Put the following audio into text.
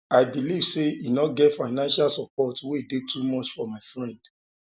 i believe sey um e no um get financial support wey dey too much for my um friend